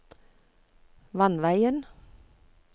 vannveien